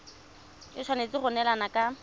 e tshwanetse go neelana ka